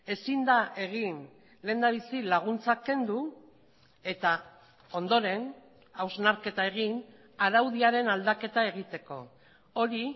ezin da egin lehendabizi laguntzak kendu eta ondoren hausnarketa egin araudiaren aldaketa egiteko hori